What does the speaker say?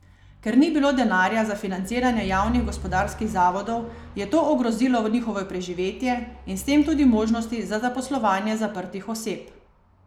Ker ni bilo denarja za financiranje javnih gospodarskih zavodov, je to ogrozilo njihovo preživetje in s tem tudi možnosti za zaposlovanje zaprtih oseb.